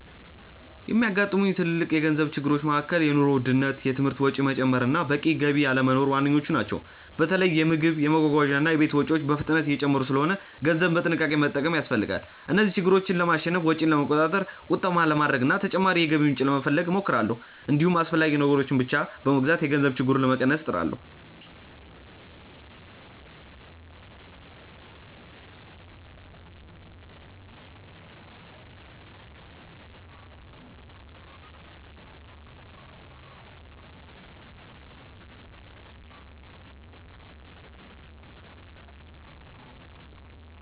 የሚያጋጥሙኝ ትልልቅ የገንዘብ ችግሮች መካከል የኑሮ ውድነት፣ የትምህርት ወጪ መጨመር እና በቂ ገቢ አለመኖር ዋነኞቹ ናቸው። በተለይ የምግብ፣ የመጓጓዣ እና የቤት ወጪዎች በፍጥነት እየጨመሩ ስለሆነ ገንዘብን በጥንቃቄ መጠቀም ያስፈልጋል። እነዚህን ችግሮች ለማሸነፍ ወጪን ለመቆጣጠር፣ ቁጠባ ለማድረግ እና ተጨማሪ የገቢ ምንጭ ለመፈለግ እሞክራለሁ። እንዲሁም አስፈላጊ ነገሮችን ብቻ በመግዛት የገንዘብ ችግሩን ለመቀነስ እጥራለሁ።